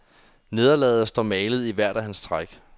Nederlaget står malet i hvert af hans træk.